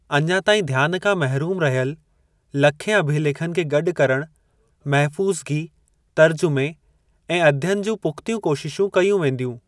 अञा ताईं ध्यान खां महिरूम रहियल लखें अभिलेखनि खे गॾु करण, महफू़ज़गी, तर्जुमे ऐं अध्ययन जूं पुख़्तियूं कोशिशूं कयूं वेंदियूं।